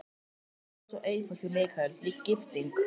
Það var allt svo einfalt hjá Michael, líka gifting.